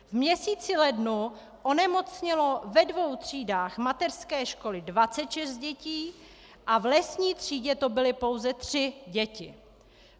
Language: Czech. V měsíci lednu onemocnělo ve dvou třídách mateřské školy 26 dětí a v lesní třídě to byly pouze tři děti.